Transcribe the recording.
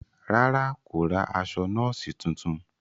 Ràrá, kò ra aṣọ nọọsi tuntun